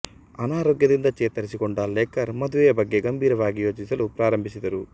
ಅನಾರೋಗ್ಯದಿಂದ ಚೇತರಿಸಿಕೊಂಡ ಲೇಕರ್ ಮದುವೆಯ ಬಗ್ಗೆ ಗಂಭೀರವಾಗಿ ಯೋಚಿಸಲು ಪ್ರಾರಂಭಿಸಿದರು